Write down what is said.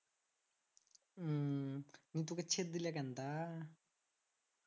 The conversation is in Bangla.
উম নিয়ে তোকে ছেড়ে দিলে কেন তা